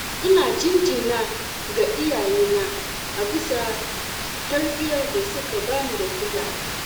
ina jinjina ga iyayena a bisa tarbiyyar da suka bani da kulawa.